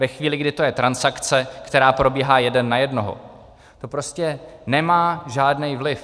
Ve chvíli, kdy to je transakce, která probíhá jeden na jednoho, to prostě nemá žádný vliv.